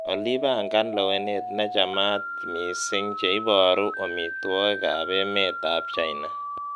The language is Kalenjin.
olly pangan lewenet nechamat missing cheiboru omitwigik ab emet ab china